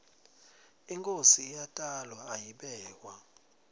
inkhosi iyatalwa ayibekwa